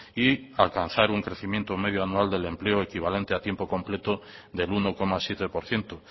y alcanzar un crecimiento medio anual del empleo equivalente a tiempo completo del uno coma siete por ciento